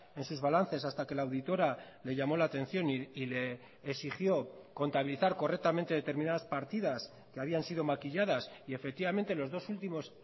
en sus balances hasta que la auditora le llamo la atención y le exigió contabilizar correctamente determinadas partidas que habían sido maquilladas y efectivamente los dos últimos